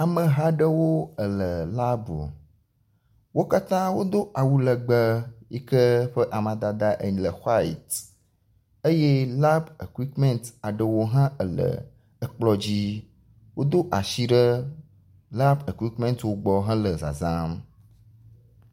Ameha aɖewo le labu. Wo katã wodo awu legbe yi ke eƒe amadada ele white eye labu ekuikimɛti aɖewo hã le ekplɔ dzi. Wodo asi ɖe labu ekuikimɛtiwo gbɔ hele zazãm.